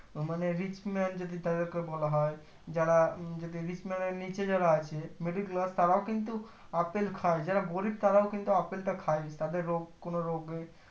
আহ মানে rich man তাদের কে বলা বলা হয় যারা rich man এর নিচে যারা আছে middle class তারও কিন্তু আপেল খাই যারা গরিব তারও কিন্তু আপেলটা খাই তাদের রোগ কোনো রোগে